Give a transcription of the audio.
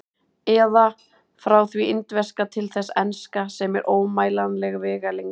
Eða: frá því indverska til þess enska, sem er ómælanleg vegalengd.